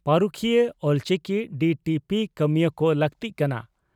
᱾ ᱯᱟᱹᱨᱩᱠᱷᱤᱭᱟᱹ ᱚᱞᱪᱤᱠᱤ ᱰᱤᱹᱴᱤᱹᱯᱤᱹ ᱠᱟᱹᱢᱤᱭᱟᱹ ᱠᱚ ᱞᱟᱹᱠᱛᱤᱜ ᱠᱟᱱᱟ